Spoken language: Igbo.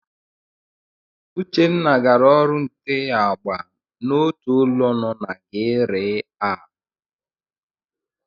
Uchenna gara ọrụ nte agba n'otu ụlọ no na GRA.